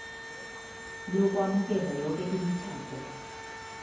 lokwamukela yoke imitjhado